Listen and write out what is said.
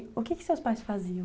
O que que seus pais faziam?